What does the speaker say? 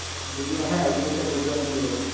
দুইদিন হ্যাঁ ওখানে একটা বৌদ্ধ মন্দির আছে